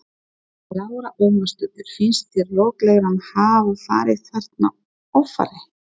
Lára Ómarsdóttir: Finnst þér lögreglan hafa farið þarna offari?